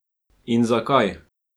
In zakaj?